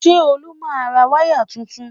Ṣé Olú máa ra wáyà tuntun?